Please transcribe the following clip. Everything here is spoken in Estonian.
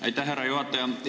Aitäh, härra juhataja!